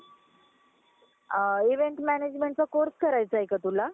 English मधे teenages पण म्हटल जाता आणि तुम्हाला सांगायचं होता ग्रीक शब्दामधे सुद्धा Endolithiur अं